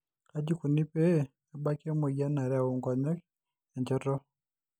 Kaaji ikoni pee ebaki emoyian e nareu inkonyek enchoto?